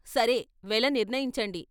సరే వెల నిర్ణయించండి "